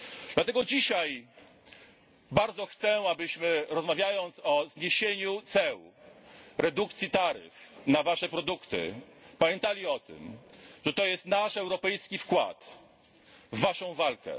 Dlatego dzisiaj bardzo chcę, abyśmy rozmawiając o zniesieniu ceł, redukcji taryf na Wasze produkty, pamiętali o tym, że to jest nasz europejski wkład w Waszą walkę.